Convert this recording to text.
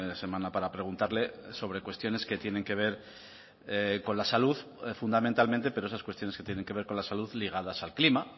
semana para preguntarle sobre cuestiones que tienen que ver con la salud fundamentalmente pero esas cuestiones que tienen que ver con la salud ligadas al clima